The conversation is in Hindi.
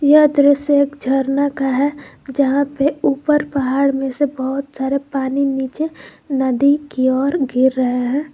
यह दृश्य एक झरना का है यहां पे ऊपर पहाड़ में से बहुत सारे पानी नीचे नदी की ओर गिर रहे हैं।